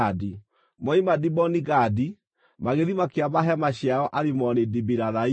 Moima Diboni-Gadi, magĩthiĩ makĩamba hema ciao Alimoni-Dibilathaimu.